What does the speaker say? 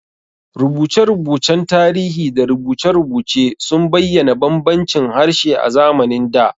Rubuce-rubucen tarihi da rubuce-rubuce sun bayyana bambancin harshe a zamanin da.